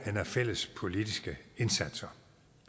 af fælles politiske indsatser